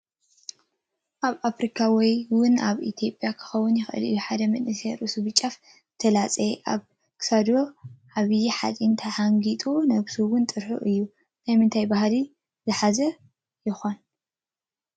ኣብ ኣፍሪካ ወይ ውን ኣብ ኢ/ያ ክኾን ይኽእል እዩ፣ ሓደ መንእሰይ ርእሱ ብጫፉ ዝተላፀየ፣ ኣብ ክሳዱ ዓብይ ሓፂን ተሓንጊጡ ነብሱ ውን ጥርሑ እዩ፡፡ ናይ ምንታይ ባህሊ ዝሓዘ ይኾን?